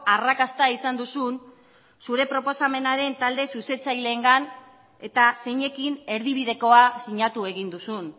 arrakasta izan duzun zure proposamenaren talde zuzentzaileengan eta zeinekin erdibidekoa sinatu egin duzun